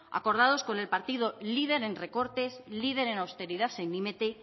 acordados con el partido líder en recortes líder en austeridad